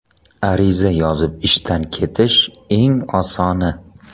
Ariza yozib ishdan ketish eng osoni.